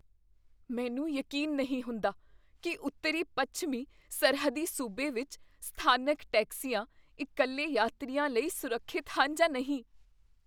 ਮੈਨੂੰ ਯਕੀਨ ਨਹੀਂ ਹੁੰਦਾ ਕੀ ਉੱਤਰੀ ਪੱਛਮੀ ਸਰਹੱਦੀ ਸੂਬੇ ਵਿੱਚ ਸਥਾਨਕ ਟੈਕਸੀਆਂ ਇਕੱਲੇ ਯਾਤਰੀਆਂ ਲਈ ਸੁਰੱਖਿਅਤ ਹਨ ਜਾਂ ਨਹੀਂ